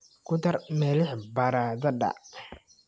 Ku dar milix baradhada.